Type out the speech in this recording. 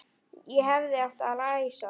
Ég hefði átt að læsa.